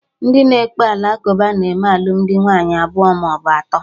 Ndị na ekpe ala kụba na-eme alụmdi nwaanyị abụọ maọbụ atọ